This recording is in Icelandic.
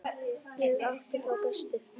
Ég átti þá bestu.